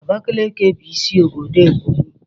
Abakaliki bụ isi obodo Ebonyi.